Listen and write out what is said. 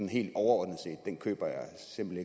helt overordnet set den køber jeg simpelt